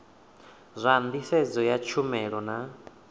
zwa nḓisedzo ya tshumelo na